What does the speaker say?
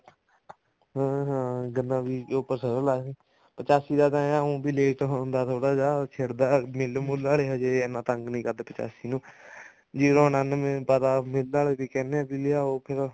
ਹਮ ਹਮ ਗੰਨਾ ਬੀਜ ਕੇ ਉੱਪਰ ਸਰੋਂ ਲਾਦੀ ਪਚਾਸੀ ਤਾਂ ਉ ਵੀ ਲੇਟ ਹੁੰਦਾ ਥੋੜਾ ਜਾ ਖਿੜ ਦਾ ਮਿੱਲ ਮੁੱਲ ਆਲੇ ਇੰਨਾ ਤੰਗ ਨੀ ਕਰਦੇ ਪਚਾਸੀ ਨੂੰ zero ਨਾਨਵੇਂ ਪਾਤਾ ਮਿੱਲ ਆਲੇ ਵੀ ਕਹਿੰਦੇ ਆ ਲਿਆਓ ਫੇਰ